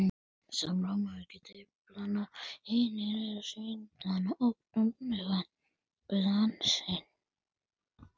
Segist hann ekki hafa áhuga?